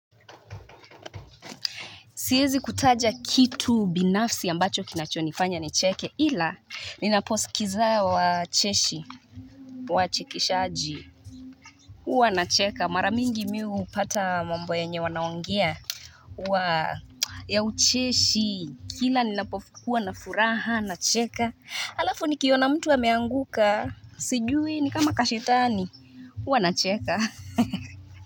Siezi kutaja kitu binafsi ambacho kinachonifanya nicheke ila ninaposikiza wa cheshi Wachekeshaji uwa nacheka mara mingi mimi upata mambo enye wanaogea uwa ya ucheshi kila ninapokuwa na furaha na cheka alafu nikiona mtu ameanguka sijui nikama kashetani Uwa nacheka ha ha.